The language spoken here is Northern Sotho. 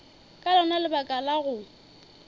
ka lona lebaka la go